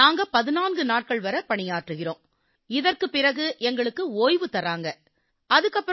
நாங்க 14 நாட்கள் வரை பணியாற்றுகிறோம் இதன் பிறகு எங்களுக்கு ஓய்வு அளிக்கப்படுது